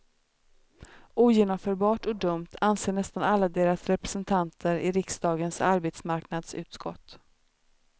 Ogenomförbart och dumt, anser nästan alla deras representanter i riksdagens arbetsmarknadsutskott.